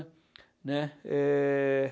Né? Eh...